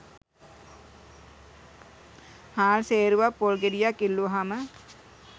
හාල් සේරුවක්‌ පොල් ගෙඩියක්‌ ඉල්ලුවහම